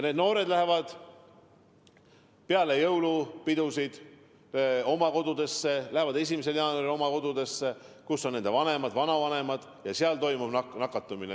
Noored lähevad peale jõulupidusid oma kodudesse, lähevad 1. jaanuaril oma kodudesse, kus on nende vanemad, vanavanemad ja seal toimub nakatumine.